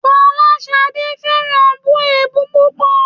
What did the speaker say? Fọláṣadé fẹ́ràn bù èébú púpọ̀